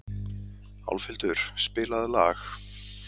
Álfhildur, spilaðu lag.